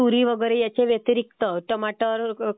तुरी वगैरे ह्याच्या व्यतिरिक्त टमाटर